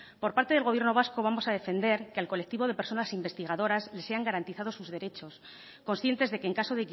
por parte del gobierno vasco vamos a defender que al colectivo de personas investigadoras les sean garantizados sus derechos conscientes de que en caso